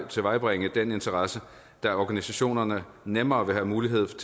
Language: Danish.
tilvejebringe den interesse da organisationerne nemmere vil have mulighed for